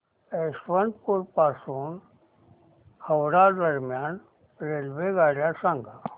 यशवंतपुर पासून हावडा दरम्यान रेल्वेगाड्या सांगा